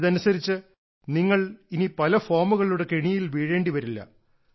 ഇതനുസരിച്ച് നിങ്ങൾ ഇനി പല ഫോമുകളുടെ കെണിയിൽ വീഴേണ്ടിവരില്ല